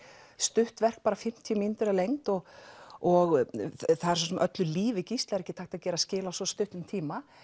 stutt verk bara fimmtíu mínútur að lengd og og öllu lífi Gísla er ekki hægt að gera skil á svona stuttum tíma